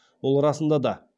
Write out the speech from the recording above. ол расында да